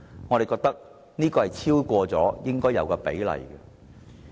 我們認為這已超出應有比例。